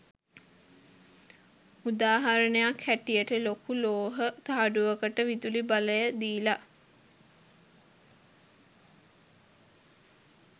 උදාහරණයක් හැටියට ලොකු ලෝහ තහඩුවකට විදුලි බලය දීලා